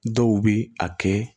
Dɔw bi a kɛ